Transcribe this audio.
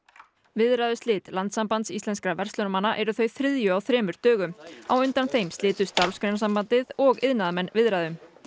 viðræðuslit Landssambands íslenskra verslunarmanna eru þau þriðju á þremur dögum á undan þeim slitu Starfsgreinasambandið og iðnaðarmenn viðræðum